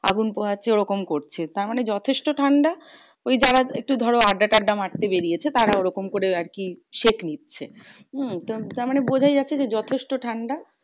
আগুন পোহাচ্ছে ওরকম করছে তারমানে যথেষ্ট ঠান্ডা। ওই যারা একটু ধরো আড্ডা টাড্ডা মারতে বেরিয়েছে তারা ওরকম করে আরকি সেঁক নিচ্ছে। হম তার মানে বোঝা যাচ্ছে যে যথেষ্ট ঠান্ডা?